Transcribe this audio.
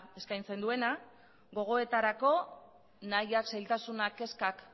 eskaintzen duena gogoetarako nahiak zailtasunak kezkak